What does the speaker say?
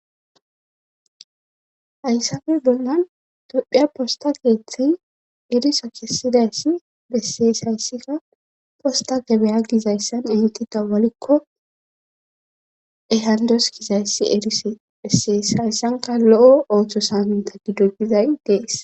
Hayssafe bolnan tophiya posta keeththey eriso kessidayssi bessees hayssikka posta gebeya gizayssan ehti dawalikko ehandoskizayssi eris bessees hayssanka lo,o ooththo saaminta gido gizay dees.